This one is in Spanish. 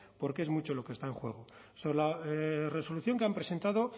porque es mucho lo que está en juego sobre la resolución que han presentado